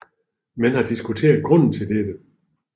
Man har diskuteret grunden til dette